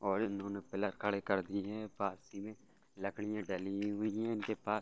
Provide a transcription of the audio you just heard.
और इन्होंने पिलर खड़े कर दिए हैं पास में लकड़ियाँ डली हुई हैं इनके पास --